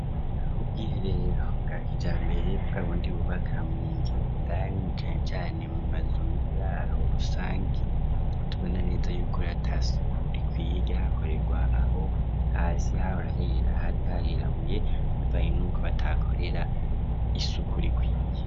Ubwiherero bwakija mbere, bw'abundi bubaka munzu indari, cane cane mu mazu y'uburaro, rusangi tubona neza y'ukori atasuku rikwiye hakorerwa ,aho hasi hahora hera hari harirabuye ,bivaye nuko batahakorera isuku rikwiye.